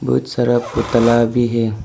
बहुत सारा पुतला भी है।